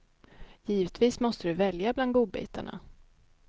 Givetvis måste du välja bland godbitarna.